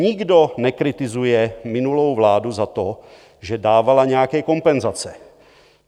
Nikdo nekritizuje minulou vládu za to, že dávala nějaké kompenzace.